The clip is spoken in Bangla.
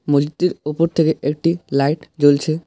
মসজিদটির উপর থেকে একটি লাইট জ্বলছে।